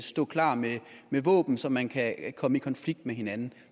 stå klar med våben så man kan komme i konflikt med hinanden